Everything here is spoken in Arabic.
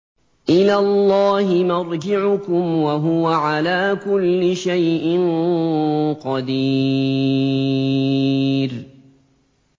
إِلَى اللَّهِ مَرْجِعُكُمْ ۖ وَهُوَ عَلَىٰ كُلِّ شَيْءٍ قَدِيرٌ